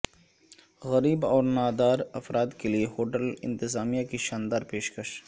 غریب اور نادار افراد کے لیے ہوٹل انتظامیہ کی شاندار پیشکش